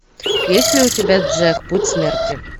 есть ли у тебя джек путь смерти